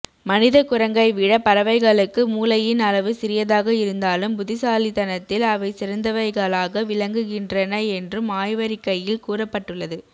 மனித குரங்கை விட பறவகைளுக்கு மூளையின் அளவு சிறியதாக இருந்தாலும் புத்திசாலித்தனத்தில் அவை சிறந்தவைகளாக விளங்குகின்றன என்றும் ஆய்வறிக்கையில் கூறப்பட்டுள்ளது